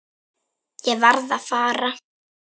Ég varð að fara.